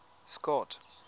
scott